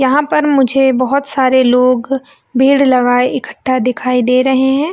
यहाँ पर मुझे बहोत सारे लोग भीड़ लगाए इकट्ठा दिखाई दे रहे है।